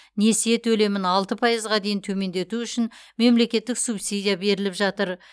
несие төлемін алты пайызға дейін төмендету үшін мемлекеттік субсидия беріліп жатыр